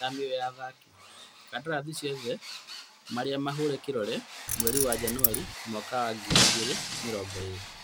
Thamio ya athaki: kandarathi ciothe marĩa mahũre kĩrore mweri wa Januarĩ mwaka ngiri igĩrĩ mĩrongo ĩrĩ